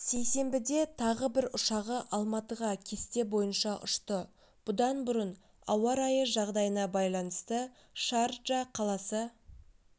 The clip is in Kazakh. сейсенбіде тағы бір ұшағы алматыға кесте бойынша ұшты бұдан бұрын ауа райы жағдайына байланысты шарджа қаласы